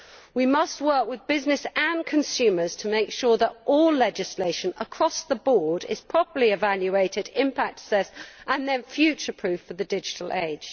We must work with businesses and consumers to make sure that all legislation across the board is properly evaluated, impact assessed and then future proofed for the digital age.